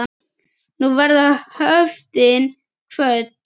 Nú verða höftin kvödd.